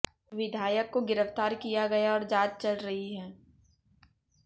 विधायक को गिरफ्तार किया गया और जांच चल रही है